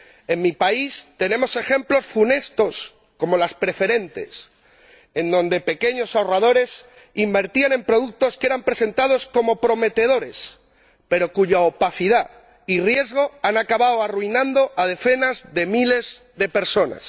En mi país tenemos ejemplos funestos, como las preferentes, en donde pequeños ahorradores invertían en productos que eran presentados como prometedores pero cuya opacidad y riesgo han acabado arruinando a decenas de miles de personas.